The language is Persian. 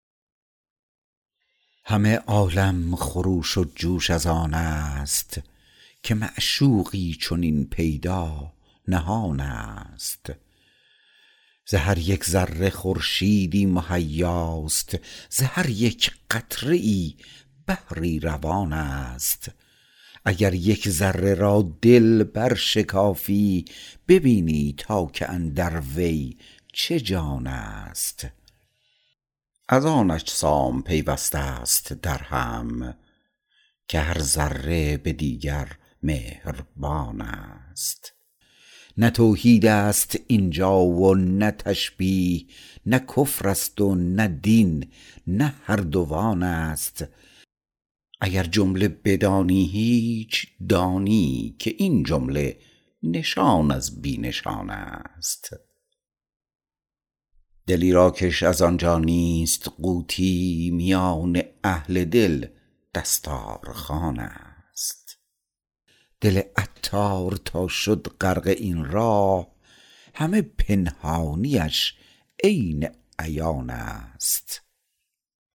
همه عالم خروش و جوش از آن است که معشوقی چنین پیدا نهان است ز هر یک ذره خورشیدی مهیاست ز هر یک قطره ای بحری روان است اگر یک ذره را دل برشکافی ببینی تا که اندر وی چه جان است از آن اجسام پیوسته است درهم که هر ذره به دیگر مهربان است نه توحید است اینجا و نه تشبیه نه کفر است و نه دین نه هر دوان است اگر جمله بدانی هیچ دانی که این جمله نشان از بی نشان است دلی را کش از آنجا نیست قوتی میان اهل دل دستار خوان است دل عطار تا شد غرق این راه همه پنهانیش عین عیان است